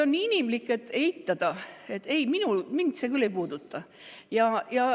On inimlik eitada, et ei, mind see küll ei puuduta.